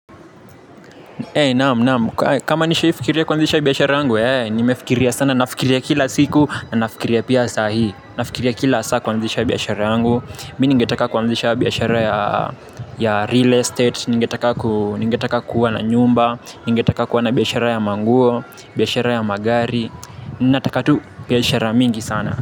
Kama nishaifikiria kuanzisha biashara yangu nimefikiria sana nafikiria kila siku na nafikiria pia sahii. Nafikiria kila saa kuanzisha biashara yangu. Mi ningetaka kuanzisha biashara ya ya real estate. Ningetaka kuwa na nyumba. Ningetaka kuwa na biashara ya manguo. Biashara ya magari. Nataka tu biashara mingi sana.